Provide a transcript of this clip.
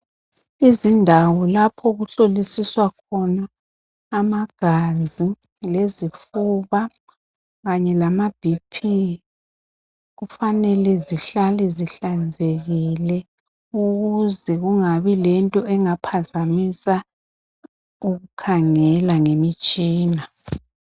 Izindawo lapho okuhlolisiswa khona amagazi lezifuba kanye lama bp kufanele zihlale zihlanzekile ukuze kungabi lento engaphazamisa ukukhangela ngemitshina.